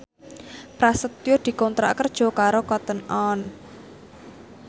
Prasetyo dikontrak kerja karo Cotton On